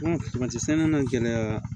sɛnɛ na gɛlɛya